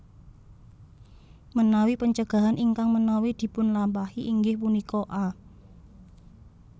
Menawi pencegahan ingkang menawi dipunlapahi inggih punika a